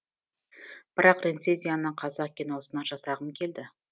бірақ рецензияны қазақ киносына жасағым келді